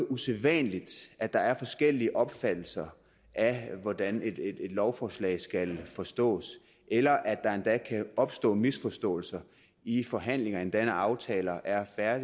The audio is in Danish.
usædvanligt at der er forskellige opfattelser af hvordan et lovforslag skal forstås eller at der endda kan opstå misforståelser i forhandlingerne endda når aftaler er er